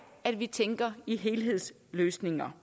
at vi tænker i helhedsløsninger